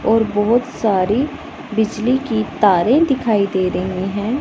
और बहुत सारी बिजली की तारें दिखाई दे रही हैं।